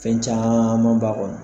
Fɛn caaman b'a kɔnɔ